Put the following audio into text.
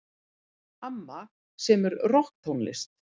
Amma semur rokktónlist.